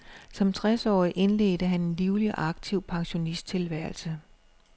Som tres årig indledte han en livlig og aktiv pensionisttilværelse.